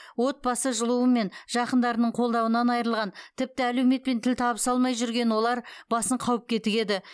отбасы жылуы мен жақындарының қолдауынан айырылған тіпті әлеуметпен тіл табыса алмай жүрген олар басын қауіпке тігеді